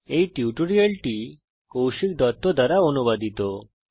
এই টিউটোরিয়াল টি কৌশিক দত্ত দ্বারা অনুবাদিত